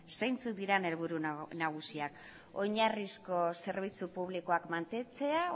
zeintzuk diren helburu nagusiak oinarrizko zerbitzu publikoak mantentzea